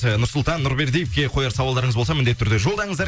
ы нұрсұлтан нұрбердиевке қояр сауалдарыңыз болса міндетті түрде жолдаңыздар